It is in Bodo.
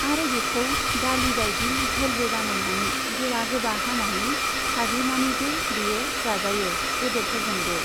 आरो बेखौ दालि बायदि झलबो बानायनानै गोबा गोबा हानानै साग्लिनानैबो बेयो जाजायो बेदरफोरजोंबो।